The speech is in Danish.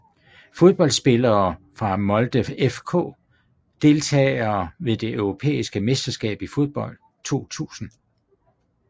Fodboldspillere fra Molde FK Deltagere ved det europæiske mesterskab i fodbold 2000